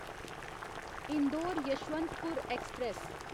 Indore Yesvantpur express